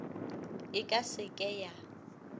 e ka se ke ya